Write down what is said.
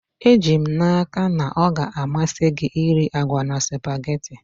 Eji m n'aka na ọ ga-amasị gị iri agwa na spugeetí